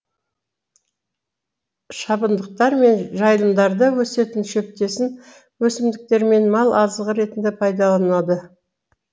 шабындықтар мен жайылымдарда өсетін шөптесін өсімдіктер мал азығы ретінде пайдаланылады